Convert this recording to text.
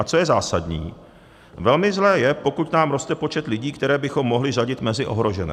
A co je zásadní, velmi zlé, je, pokud nám roste počet lidí, které bychom mohli řadit mezi ohrožené.